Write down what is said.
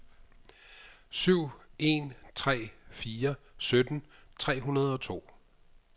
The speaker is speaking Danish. syv en tre fire sytten tre hundrede og to